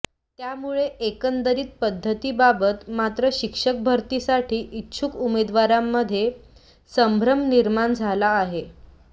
त्यामुळे एकंदतरीत पध्दतीबाबत मात्र शिक्षक भरतीसाठी इच्छुक उमेदवारांमध्ये संभ्रम निर्माण झाला आहे